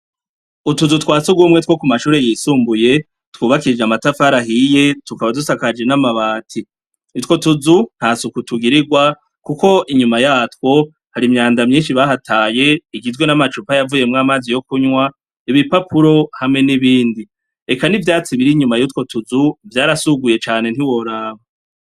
Utuzu twasugumwe two ku mashuri yisumbuye, twubakishije amatafari ahiye, tukaba dusakajije n'amabati . utwo tuzu nta suku tugirirwa kuko inyuma yatwo hari imyanda myinshi bahataye, igitwe n'amacupa yavuyemwe amazi yo kunywa, ibipapuro hamwe n'ibindi .Eka n'ivyatsi bir inyuma y'utwo tuzu vyarasuguye cane ntiworaba.